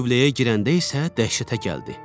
Tövləyə girəndə isə dəhşətə gəldi.